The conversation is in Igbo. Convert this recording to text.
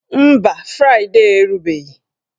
Mba, fraịdee erubeghị